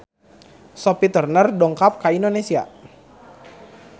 Sophie Turner dongkap ka Indonesia